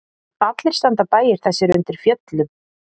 Allir standa bæir þessir undir fjöllum.